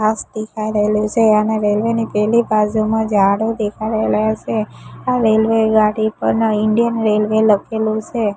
ઘાસ દેખાય રઈલુ સે અને રેલ્વે ની પેલી બાજુમાં ઝાડો દેખાડેલા સે આ રેલ્વે ગાડી પર ઇન્ડિયન રેલ્વે લખેલુ સે.